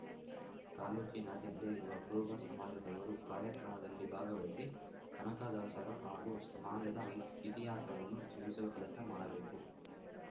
ತಾಲೂಕಿನಾದ್ಯಂತ ಇರುವ ಕುರುಬ ಸಮಾಜದವರು ಕಾರ್ಯಕ್ರಮದಲ್ಲಿ ಭಾಗವಹಿಸಿ ಕನಕದಾಸರ ಹಾಗೂ ಸಮಾಜದ ಇತಿಹಾಸವನ್ನು ತಿಳಿಸುವ ಕೆಲಸ ಮಾಡಬೇಕು